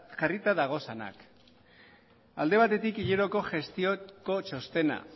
jarrita dagozanak alde batetik hileroko gestioko txostena